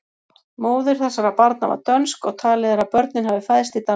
Móðir þessara barna var dönsk og talið er að börnin hafi fæðst í Danmörku.